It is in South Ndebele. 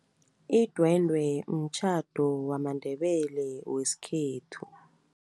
Idwendwe mtjhado wamaNdebele wesikhethu.